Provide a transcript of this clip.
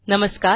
नमस्कार